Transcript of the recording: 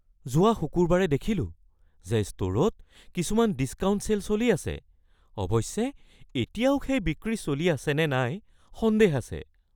যোৱা শুকুৰবাৰে দেখিলোঁ যে ষ্ট’ৰত কিছুমান ডিছকাউণ্ট ছে'ল চলি আছে। অৱশ্যে এতিয়াও এই বিক্ৰী চলি আছেনে নাই সন্দেহ আছে।